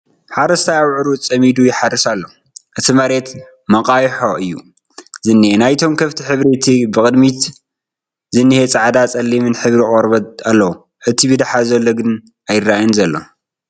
ሓረስታይ ኣብዑሩ ፀሚዱ ይሓርስ ኣሎ እቲ መሬት መቓይሖ እዩ ዝንሄ ናይቶም ከፍቲ ሕብሪ እቲ ብቕድሚት ዝንሄ ፃዕዳን ፀሊምን ሕብሪ ቖርበት ኣለዎ እቲ ብዳሓር ዘሎ ግን ኣይረኣይን ዘሎ ።